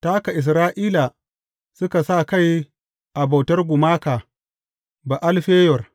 Ta haka Isra’ila suka sa kai a bautar gumaka Ba’al Feyor.